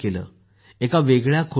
एका वेगळ्या खोलीत गेले